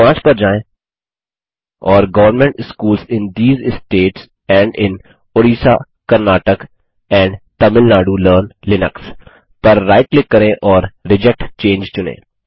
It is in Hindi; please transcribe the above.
बिंदु 5 पर जाएँ और government schools in these states and in Orissa Karnataka and Tamil Nadu learn Linux पर राइट क्लिक करें और रिजेक्ट चंगे चुनें